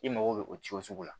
I mago bɛ o ci o sugu la